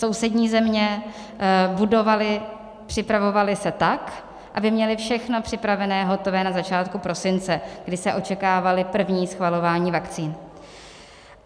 Sousední země budovaly, připravovaly se tak, aby měly všechno připravené, hotové na začátku prosince, kdy se očekávala první schvalování vakcín.